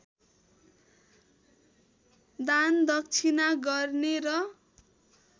दानदक्षिणा गर्ने र